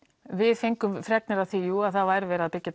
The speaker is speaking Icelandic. við fengum fregnir af því jú að það væri verið að byggja